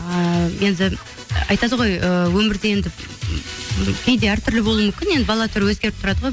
ііі енді айтады ғой ыыы өмірде енді кейде әр түрлі болуы мүмкін енді бала түрі өзгеріп тұрады ғой